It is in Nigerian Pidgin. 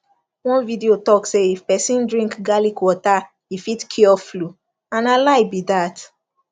one video talk say if person drink garlic water e fit cure flu and na lie be dat